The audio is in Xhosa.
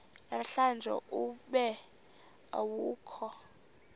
namhlanje ube awukho